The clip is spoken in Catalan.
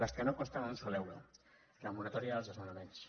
les que no costen un sol euro la moratòria dels desnonaments